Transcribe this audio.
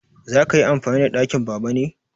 Za ka yi amfani da ɗakin Baba ne?